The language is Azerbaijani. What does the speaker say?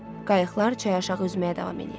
Qayıqlar çaya aşağı üzməyə davam eləyirdi.